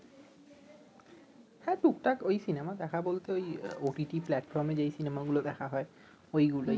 হ্যাঁ টুকটাক ঐ সিনেমা দেখা বলতে ঐ ওটিটি প্লাটফর্মে যেই সিনেমাগুলো দেখা হয় ঐ গুলোই